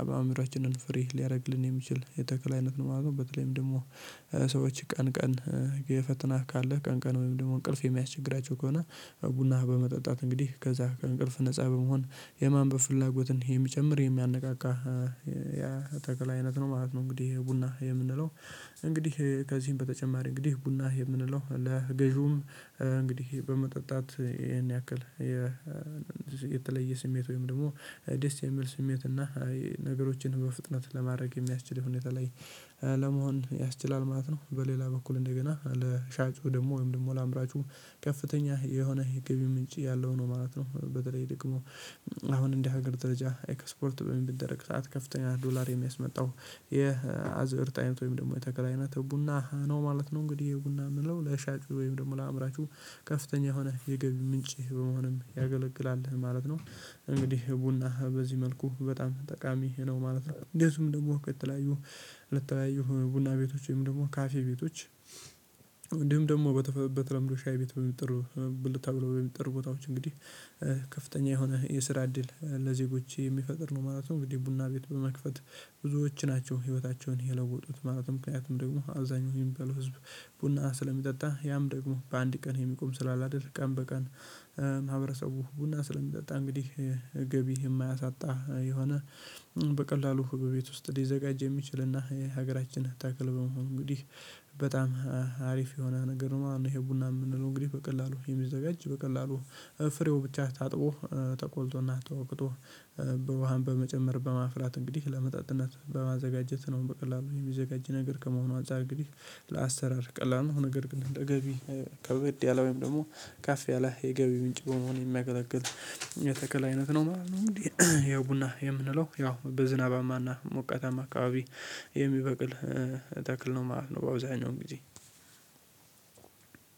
አእምሮአችንን ፍሪ ሊያደርግልን የሚችል የተክል አይነት ነው ማለት ነው። በተለይም ደግሞ ሰዎች ቀን ቀን ፈተና ካለህ ቀን ቀን ወይም ደግሞ እንቅልፍ የሚያስቸግራቸው ከሆነ ቡና በመጠጣት እንግዲህ ከዛ ከእንቅልፍ ነፃ በመሆን የማንበብ ፍላጎትን የሚጨምር የሚያነቃቃ ያ ተክል አይነት ነው ማለት ነው። እንግዲህ ቡና የምንለው እንግዲህ ከዚህም በተጨማሪ እንግዲህ ቡና የምንለው ለገዢውም እንግዲህ በመጠጣት ይሄን ያክል የተለየ ስሜት ወይም ደግሞ ደስ የሚል ስሜት እና ነገሮችን በፍጥነት ለማድረግ የሚያስችል ሁኔታ ላይ ለመሆን ያስችላል ማለት ነው። በሌላ በኩል እንደገና ለሻጩ ደግሞ ወይም ደግሞ ለአምራቹ ከፍተኛ የሆነ የገቢ ምንጭ ያለው ነው ማለት ነው። በተለይ ደግሞ አሁን እንደ ሀገር ደረጃ ኤክስፖርት በምን ቢደረግ ሰዓት ከፍተኛ ዶላር የሚያስመጣው የአዝእርት አይነት ወይም ደግሞ የተክል ኣይነት ቡና ነው ማለት ነው። እንግዲህ ቡና የምንለው ለሻጩ ወይም ደግሞ ለአምራቹ ከፍተኛ የሆነ የገቢ ምንጭ በመሆንም ያገለግላል ማለት ነው። እንግዲህ ቡና በዚህ መልኩ በጣም ጠቃሚ ነው ማለት ነው። እንዴትም ደግሞ ከተለያዩ ለተለያዩ ቡና ቤቶች ወይም ደግሞ ካፌ ቤቶች ደግሞ በተለምዶ ሻይ ቤት በሚጠሩ ብልታ ብሎ በሚጠሩ ቦታዎች እንግዲህ ከፍተኛ የሆነ የስራ እድል ለዜጎች የሚፈጥር ነው ማለት ነው። እንግዲህ ቡና ቤት በመክፈት ብዙዎች ናቸው ህይወታቸውን የለወጡት። ማለት ምክንያቱም ደግሞ አብዛኛው የሚባለው ህዝብ ቡና ስለሚጠጣ ያም ደግሞ በአንድ ቀን የሚቆም ስላላደል ቀን በቀን ማህበረሰቡ ቡና ስለሚጠጣ እንግዲህ ገቢ የማያሳጣ የሆነ በቀላሉ በቤት ውስጥ ሊዘጋጅ የሚችልና የሀገራችን ተክል በመሆን እንግዲህ በጣም አሪፍ የሆነ ነገር ነው። እኔ ይሄ ቡና የምንለው እንግዲህ በቀላሉ የሚዘጋጅ በቀላሉ ፍሬው ብቻ ታጥቦ ተቆልቶና ተወቅቶ በውሃም በመጨመር በማፍላት እንግዲህ ለመጠጥነት በማዘጋጀት ነው። በቀላሉ የሚዘጋጅ ነገር ከመሆኑ አንፃር እንግዲህ ለአሰራር ቀላል ነው። ነገር ግን እንደ ገቢ ከበድ ያለ ወይም ደግሞ ካፍ ያለ የገቢ ወንጭ በመሆን የሚያገለግል የተከል አይነት ነው ማለት ነው። እንግዲህ ይህ ቡና የምንለው ያው በዝናባማና ሞቃታማ አካባቢ ተክል ነው ማለት ነው። በአብዛኛው እንግዲህ